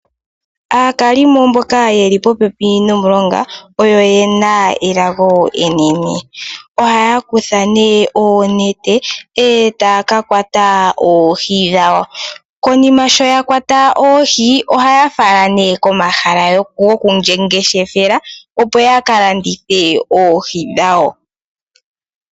Aakalimo mboka yeli popepi nomulonga oyena elago enene. Ohaya kutha nee oonete eta ya ka kwata oohi dhawo. Konima sho ya kwata oohi oha ya fala nee komahala gomangeshefelo opo ya kalandithe oohi dhawo.